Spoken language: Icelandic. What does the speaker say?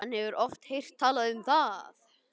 Hann hefur oft heyrt talað um það.